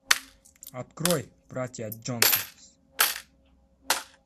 открой братья джонсонс